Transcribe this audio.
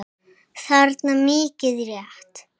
þarna, mikið rétt.